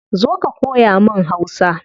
Zo ka koya mun hausa